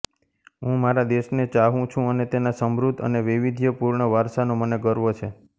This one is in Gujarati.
હું મારા દેશને ચાહું છું અને તેના સમૃદ્ધ અને વૈવિધ્યપૂર્ણ વારસાનો મને ગર્વ છે